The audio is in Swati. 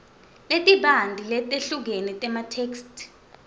letibanti letehlukene tematheksthi